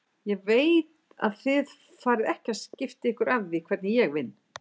Ég veit að þið farið ekki að skipta ykkur af því hvernig ég vinn.